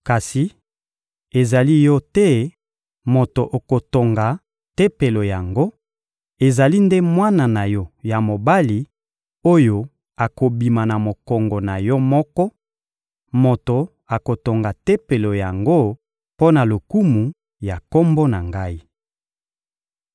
Kasi ezali yo te moto okotonga Tempelo yango; ezali nde mwana na yo ya mobali, oyo akobima na mokongo na yo moko, moto akotonga Tempelo yango mpo na lokumu ya Kombo na Ngai.»